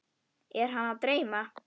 Er hana að dreyma?